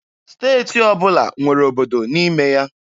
Steeti ọbụla nwere obodo n'ime ya.